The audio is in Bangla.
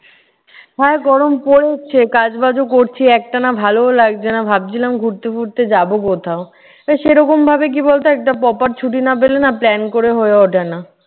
হ্যাঁ, গরম পড়েছে। কাজ-বাজও করছি। একটানা ভালোও লাগছে না, ভাবছিলাম ঘুরতে ফুরতে যাবো কোথাও। তা সেই রকমভাবে কি বলতো একটা proper ছুটি না পেলে না plan করে হয়ে উঠে না।